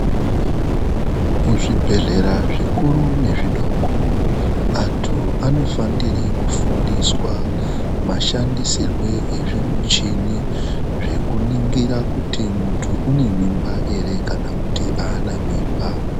Kuzvibhedhlera zvikuru nezvidoko andu anofanira kufundiswa mashandisirwo ezvimuchini zvekuningira kuti mundu une mimba ere kana kuti ana mimba.